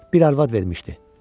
Bir arvad vermişdi.